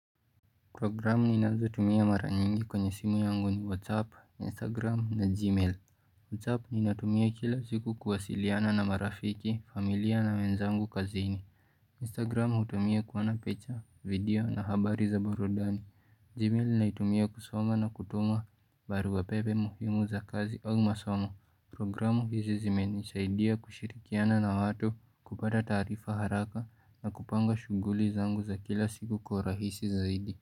Programu ninazotumia mara nyingi kwenye simu yangu ni whatsapp, instagram na gmail Whatsapp ninatumia kila siku kuwasiliana na marafiki, familia na wenzangu kazini Instagram hutumia kuona picha video na habari za burudani Gmail naitumia kusoma na kutuma barua pepe muhimu za kazi au masomo. Programu hizi zimenisaidia kushirikiana na watu, kupata taarifa haraka na kupanga shughuli zangu za kila siku kwa urahisi zaidi.